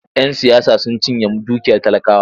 Yan siyasa sun cinye dukiyar talakawa.